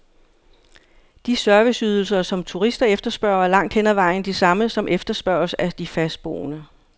De serviceydelser, som turister efterspørger, er langt hen ad vejen de samme, som efterspørges af de fastboende.